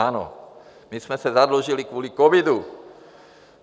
Ano, my jsme se zadlužili kvůli covidu.